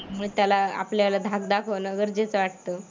मग त्याला आपल्याला धाक दाखवणं गरजेचं वाटतं.